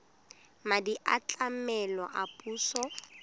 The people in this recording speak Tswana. madi a tlamelo a puso